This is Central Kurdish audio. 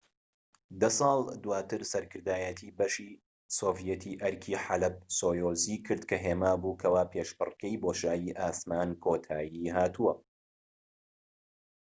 دە ساڵ دواتر سەرکردایەتی بەشی سۆڤیەتی ئەرکی حەلەب-سۆیوزی کرد کە هێما بوو کەوا پێشبڕکێی بۆشایی ئاسمان کۆتای هاتووە